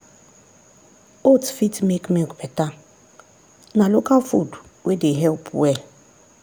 oats fit make milk better na local food wey dey help well.